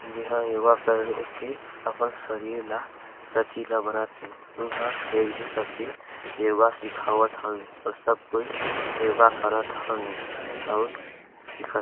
जी हाँ योगा करके अपन शरीर ला लचीला बनात हे यहाँ एक जी सब के योगा सिखावत हवे और सब कोई योगा करत हवे और सिखत--